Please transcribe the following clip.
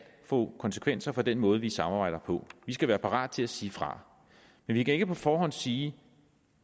få konsekvenser for den måde vi samarbejder på vi skal være parat til at sige fra men vi kan ikke på forhånd sige